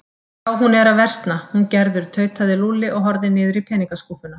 Já, hún er að versna, hún Gerður tautaði Lúlli og horfði niður í peningaskúffuna.